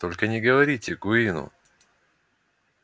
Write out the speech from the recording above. только не говорите куинну